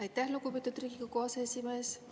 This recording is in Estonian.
Aitäh, lugupeetud Riigikogu aseesimees!